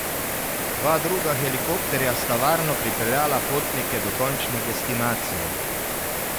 Dva druga helikopterja sta varno pripeljala potnike do končne destinacije.